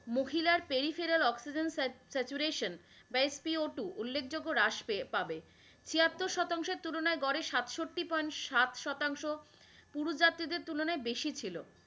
মহিলার peripheral oxygen saturation Mate be o two হ্রাস পাবে, ছিয়াত্তর শতাংশ এর তুলনাই গড়ে সাটস্ততি ভাগ সাত শতাংশ পুরুষ জতিদের তুলনাই বেশি ছিল।